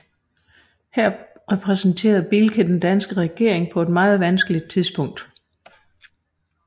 Her repræsenterede Bielke den danske regering på et meget vanskeligt tidspunkt